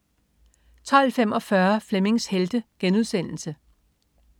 12.45 Flemmings Helte*